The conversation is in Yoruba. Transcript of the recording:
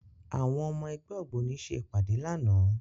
Àwọn ọmọ ẹgbẹ́ ògbóni ṣe ìpàdé lánàá